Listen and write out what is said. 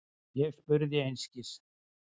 Ég spurði einskis.